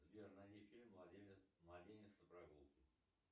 сбер найди фильм младенец на прогулке